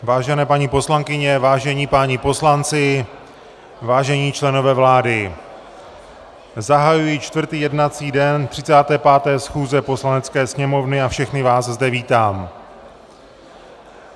Vážené paní poslankyně, vážení páni poslanci, vážení členové vlády, zahajuji čtvrtý jednací den 35. schůze Poslanecké sněmovny a všechny vás zde vítám.